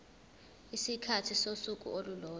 isikhathi sosuku olulodwa